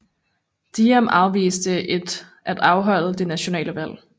Diem afviste at afholde det nationale valg